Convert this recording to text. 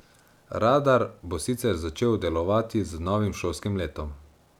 Radar bo sicer začel delovati z novim šolskim letom.